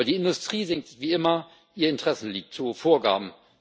Aber die Industrie singt wie immer ihr Interessenlied zu hohe Vorgaben.